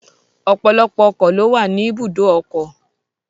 Ọ̀pọ̀lọpọ̀ ọkọ̀ ló wà ní ibùdó ọkọ̀.